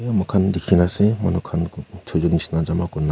moikhan dikhina ase manukhan chuijen nishe na jama kurina.